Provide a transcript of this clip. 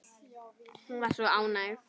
Hún var svo ánægð.